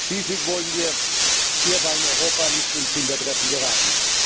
Schließlich wollen wir hierbei in Europa nicht ins Hintertreffen geraten.